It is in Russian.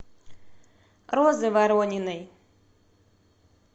розы ворониной